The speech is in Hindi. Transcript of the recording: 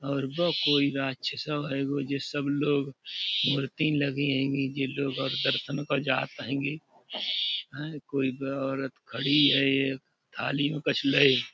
और ब कोई राक्छ्सो हैगो जे सब लोग मूरतिन लगीन हेंगी । जे लोग और दर्सन को जात हैंगे। हैय कोई औरत खड़ी हैं एक थाली में कछु लय ।